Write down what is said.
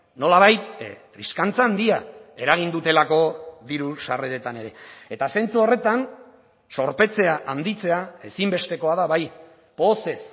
nolabait triskantza handia eragin dutelako diru sarreretan ere eta zentzu horretan zorpetzea handitzea ezinbestekoa da bai pozez